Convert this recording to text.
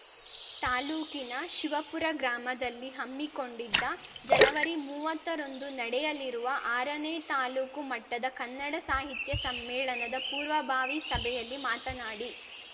ತಾಲೂಕಿನ ಶಿವಪುರ ಗ್ರಾಮದಲ್ಲಿ ಹಮ್ಮಿಕೊಂಡಿದ್ದ ಜನವರಿಮುವ್ವತ್ತರಂದು ನಡೆಯಲಿರುವ ಆರ ನೇ ತಾಲೂಕು ಮಟ್ಟದ ಕನ್ನಡ ಸಾಹಿತ್ಯ ಸಮ್ಮೇಳನದ ಪೂರ್ವಭಾವಿ ಸಭೆಯಲ್ಲಿ ಮಾತನಾಡಿ